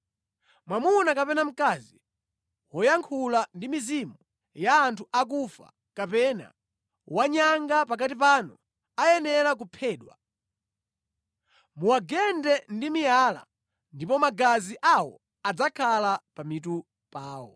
“ ‘Mwamuna kapena mkazi woyankhula ndi mizimu ya anthu akufa kapena wanyanga pakati panu ayenera kuphedwa. Muwagende ndi miyala, ndipo magazi awo adzakhala pa mitu pawo.’ ”